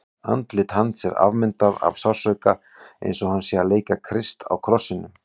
Andlit hans er afmyndað af sársauka, eins og hann sé að leika Krist á krossinum.